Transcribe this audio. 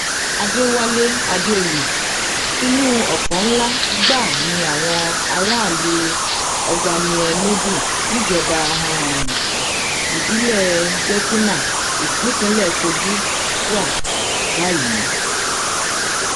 àdẹwálé àdèoyè inú ọfọ ńlá gbáà ni àwọn aráàlú ogbaniénúdú níjọba um ìbílẹ dèkínà nípínlẹ kogi wà um báyìí